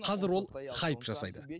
қазір ол хайп жасайды